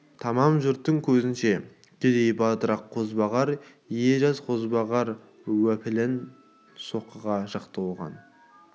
тамам жұрттың көзінше кедей-батырақ қозбағар ие жаз қозбағар уәпүлын соққыға жықты оған